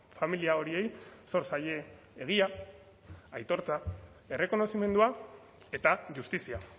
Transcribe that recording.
familia horiei zor zaie egia aitortza errekonozimendua eta justizia